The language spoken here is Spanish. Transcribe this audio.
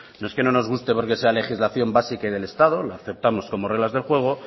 no es que no nos guste porque sea legislación básica y del estado la aceptamos como reglas del juego